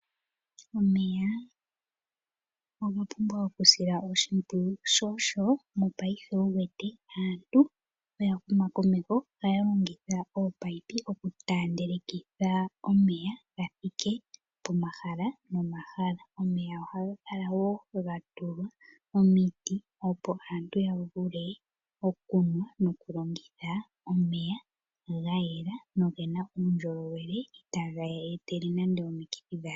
Omeya oga pumbwa okusilwa oshimpwiyu. Sho osho mopaife wu wete oya huma komeho aantu ohaya longitha oopipi okutaandelikitha omeya ga thike pomahala nomahala. Omeya ohaga kala wo ga tulwa omiti, opo aantu ya vule okunwa nokulongitha omeya ga yela nogena uundjolowele itaage yee etele nande omikuthi dhasha.